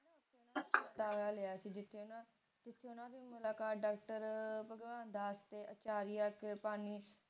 ਲਿਆ ਸੀ ਜਿਥੇ ਨਾ ਜਿਥੇ ਓਹਨਾ ਦੀ ਮੁਲਾਕਾਤ ਡਾਕਟਰ ਭਗਵੰਤ ਦਾਸ ਤੇ ਅਚਾਰੀਆ ਚੇਤਨ